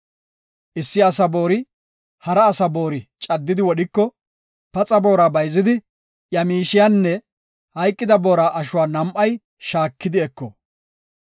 “Issi asa boori hara asa boori caddidi wodhiko, paxa boora bayzidi, iya miishiyanne hayqida boora ashuwa nam7ay shaaki eko.